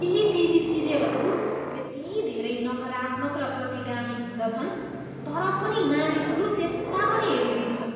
केही टिभी सिरियलहरू यति धेरै नकारात्मक र प्रतिगामी हुँदछन् तर पनि मानिसहरू त्यस्ता पनि हेरिदिन्छन्।